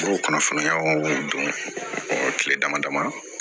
B'o kɔnɔ fara ɲɔgɔn k'o don kile damadamani